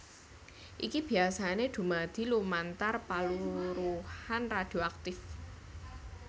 Iki biyasané dumadi lumantar paluruhan radhioaktif